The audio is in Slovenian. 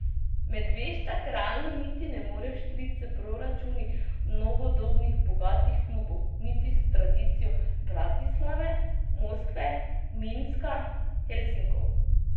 Medveščak realno niti ne more vštric s proračuni novodobnih bogatih klubov niti s tradicijo Bratislave, Moskve, Minska, Helsinkov.